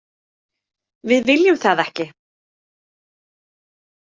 Við viljum það ekki.